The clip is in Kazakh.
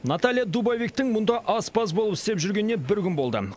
наталья дубовиктің мұнда аспаз болып істеп жүргеніне бір күн болды